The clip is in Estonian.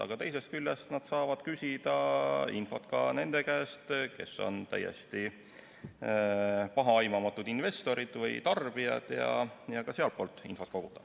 Aga teisest küljest nad saavad küsida infot ka nende käest, kes on täiesti pahaaimamatud investorid või tarbijad, ja ka sealtpoolt infot koguda.